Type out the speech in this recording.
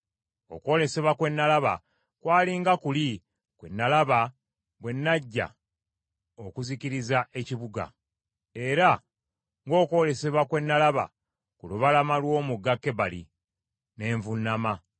Okwolesebwa kwe nalaba kwali nga kuli kwe nalaba bwe najja okuzikiriza ekibuga, era ng’okwolesebwa kwe nalaba ku lubalama lw’omugga Kebali; ne nvuunama.